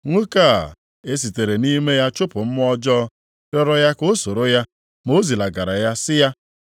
Nwoke a e sitere nʼime ya chụpụ mmụọ ọjọọ rịọrọ ya ka o soro ya ma o zilagara ya, sị ya,